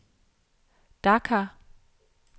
Dakar